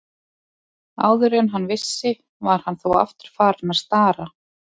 Áður en hann vissi var hann þó aftur farinn að stara.